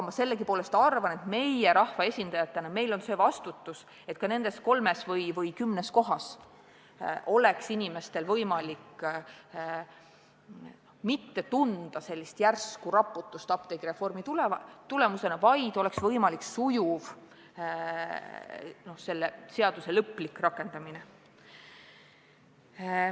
Ma arvan, et meil rahva esindajatena on see vastutus, et ka nendes kolmes või kümnes kohas ei tunneks inimesed apteegireformi tulemusena järsku raputust, vaid oleks võimalik sujuv seaduse lõplik rakendamine.